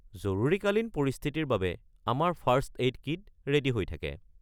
জৰুৰীকালীন পৰিস্থিতিৰ বাবে আমাৰ ফাৰ্ষ্ট-এইড কিট ৰে'ডী হৈ থাকে।